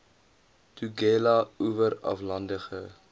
tugela oewer aflandige